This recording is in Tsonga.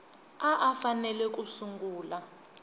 a a fanele ku sungula